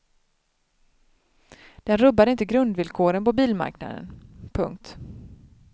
Den rubbar inte grundvillkoren på bilmarknaden. punkt